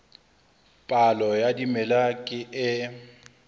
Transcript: palo ya dimela ke e